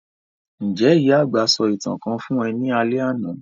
Njẹ́ ìyà-àgbà sọ ​​ìtàn kan fun ọ ni alẹ́ àná?